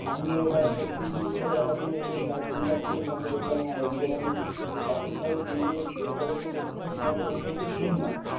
আমিও এটা সত্যি কি মিথ্যে দেখার জন্য ইয়ে করেছিলাম একটু research করেছিলাম। কিন্তু হ্যাঁ দেখলাম এগুলো মানে যে কাশ্মীরের যে যে যেটার উপর বেশ করে cinema তৈরি হয়েছে ভুল না